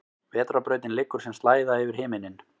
Vetrarbrautin liggur sem slæða yfir himinninn.